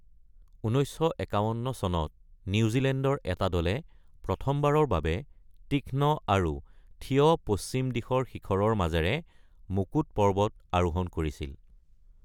১৯৫১ চনত নিউজিলেণ্ডৰ এটা দলে প্ৰথমবাৰৰ বাবে তীক্ষ্ণ আৰু থিয় পশ্চিম দিশৰ শিখৰৰ মাজেৰে মুকুট পৰ্বত আৰোহণ কৰিছিল।